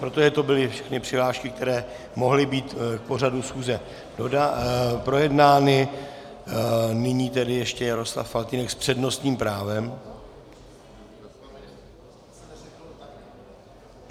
Protože to byly všechny přihlášky, které mohly být k pořadu schůzi projednány, nyní tedy ještě Jaroslav Faltýnek s přednostním právem.